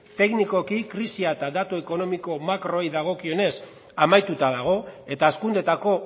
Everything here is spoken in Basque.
teknikoki krisia eta datu ekonomiko makroei dagokionez amaituta dago eta hazkundeetako